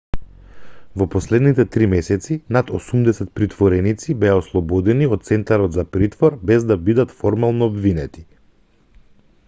во последните 3 месеци над 80 притвореници беа ослободени од центарот за притвор без да бидат формално обвинети